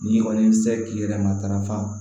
N'i kɔni sera k'i yɛrɛ matarafa